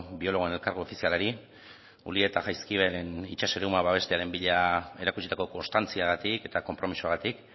biologoen elkargo ofizialari ulia eta jaizkibelen itsas eremua babestearen bila erakutsitako konstantziagatik eta konpromisoagatik